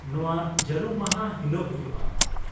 -ᱱᱚᱶᱟ ᱡᱟᱹᱨᱩᱢ ᱢᱟᱦᱟ ᱦᱤᱞᱳᱜ ᱦᱩᱭᱩᱜᱼᱟ ?